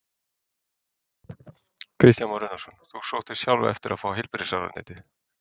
Kristján Már Unnarsson: Þú sóttist sjálf eftir að fá heilbrigðisráðuneytið?